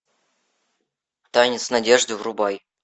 танец надежды врубай